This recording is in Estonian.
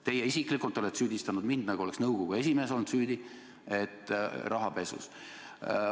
Teie isiklikult olete süüdistanud mind, nagu oleks nõukogu esimees olnud süüdi rahapesus.